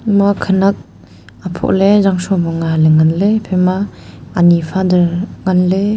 ema khanak aphoh le zangshom ang a le phaima ani father nganley.